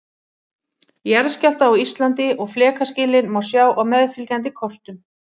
Jarðskjálfta á Íslandi og flekaskilin má sjá á meðfylgjandi kortum.